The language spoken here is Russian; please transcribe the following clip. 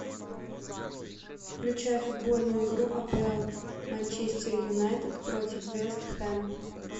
включай футбольную игру апл манчестер юнайтед против вест хэм